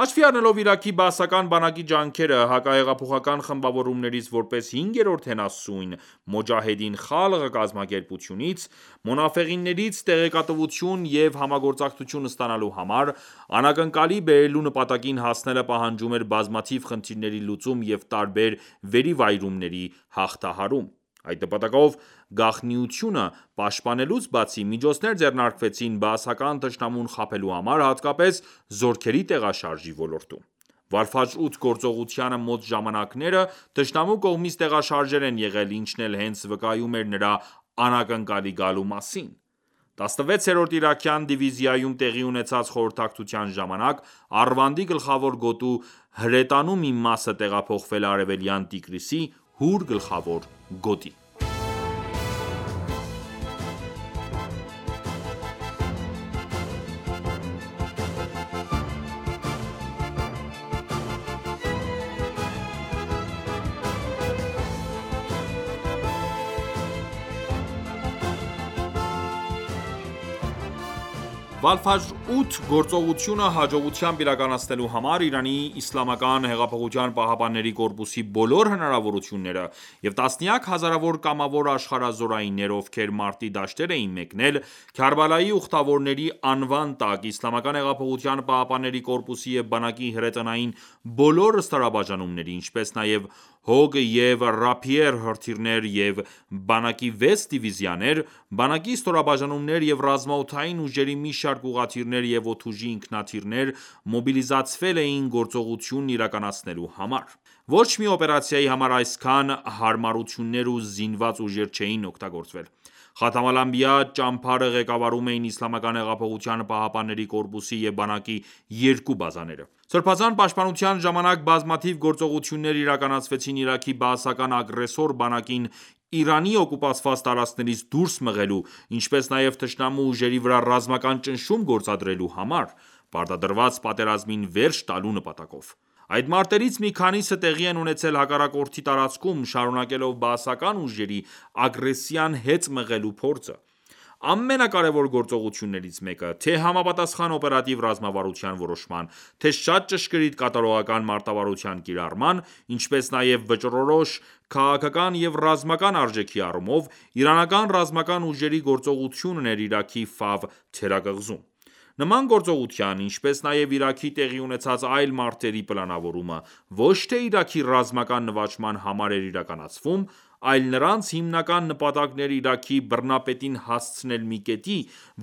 Հաշվի առնելով Իրաքի բաասական բանակի ջանքերը՝ հակահեղափոխական խմբավորումներից որպես հինգերորդ հենասյուն «Մոջահեդին Խալղ» կազմակերպությունից (Մոնաֆեղներից) տեղեկատվություն և համագործակցություն ստանալու համար, անակնկալի բերելու նպատակին հասնելը պահանջում էր բազմաթիվ խնդիրների լուծում և տարբեր վերիվայրումների հաղթահարում: Այդ նպատակով, գաղտնիությունը պաշտպանելուց բացի, միջոցներ ձեռնարկվեցին բաասական թշնամուն խաբելու համար, հատկապես զորքերի տեղաշարժի ոլորտում։ Վալ-Ֆաջր 8 գործողությանը մոտ ժամանակները թշնամու կողմից տեղաշարժեր են եղել, ինչն էլ հենց վկայում էր նրա անակնկալի գալու մասին։ 16-րդ իրաքյան դիվիզիայում տեղի ունեցած խորհրդակցության ժամանակ Արվանդի գլխավոր գոտու հրետանու մի մասը տեղափոխվել է Արևելյան Տիգրիսի (Հուր) գլխավոր գոտի։ «Վալֆաջր 8» գործողությունը հաջողությամբ իրականացնելու համար ԻՀՊԿ-ի բոլոր հնարավորությունները և տասնյակ հազարավոր կամավոր աշխարհազորայիններ, ովքեր մարտի դաշտեր էին մեկնել «Քարբալայի ուխտավորների» անվան տակ, ԻՀՊԿ-ի և բանակի հրետանային բոլոր ստորաբաժանումների, ինչպես նաև Հոգ և Ռափիեր հրրթիռներ և բանակի վեց դիվիզիաներ, բանակի ստորաբաժանումներ և ռազմաօդային ուժերի մի շարք ուղղաթիռներ և օդուժի ինքնաթիռներ մոբիլիզացվել էին գործողությունն իրականացնելու համար: Ոչ մի օպերացիայի համար այսքան հարմարություններ ու զինված ուժեր չէին օգտագործվել։ Խաթամ ​​ալ-Անբիա ճամբարը ղեկավարում էին ԻՀՊԿ-ի և բանակի երկու բազաները: Սրբազան պաշտպանության ժամանակ բազմաթիվ գործողություններ իրականացվեցին Իրաքի բաասական ագրեսոր բանակին Իրանի օկուպացված տարածքներից դուրս մղելու, ինչպես նաև թշնամու ուժերի վրա ռազմական ճնշում գործադրելու համար՝ պարտադրված պատերազմին վերջ տալու նպատակով։ Այդ մարտերից մի քանիսը տեղի են ունեցել հակառակորդի տարածքում՝ շարունակելով բաասական ուժերի ագրեսիան հետ մղելու փորձը։ Ամենակարևոր գործողություններից մեկը՝ թե՛ համապատասխան օպերատիվ ռազմավարության որոշման, թե՛ շատ ճշգրիտ կատարողական մարտավարության կիրառման, ինչպես նաև վճռորոշ քաղաքական և ռազմական արժեքի առումով, իրանական ռազմական ուժերի գործողությունն էր Իրաքի Ֆավ թերակղզում։ Նման գործողության, ինչպես նաև Իրաքում տեղի ունեցած այլ մարտերի պլանավորումը ոչ թե Իրաքի ռազմական նվաճման համար էր իրականացվում, այլ նրանց հիմնական նպատակն էր Իրաքի բռնապետին հասցնել մի կետի,